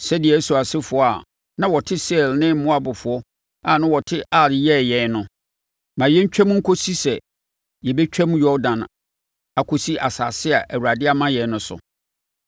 sɛdeɛ Esau asefoɔ a na wɔte Seir ne Moabfoɔ a na wɔte Ar yɛɛ yɛn no. Ma yɛntwam nkɔsi sɛ yɛbɛtwam Yordan akɔsi asase a Awurade de ama yɛn no so.”